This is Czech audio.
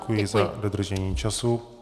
Děkuji za dodržení času.